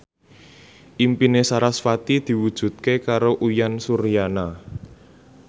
impine sarasvati diwujudke karo Uyan Suryana